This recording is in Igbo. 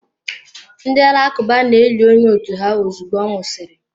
Ndị Alakụba na-eli onye otu ha ozugbo ọ nwụsịrị.